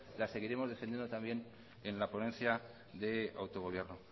las seguiremos defendiendo también en la ponencia de autogobierno